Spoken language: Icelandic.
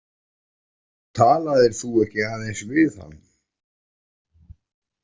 Talaðir þú ekki aðeins við hann?